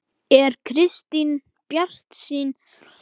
Er Kristín bjartsýn um að vera þar?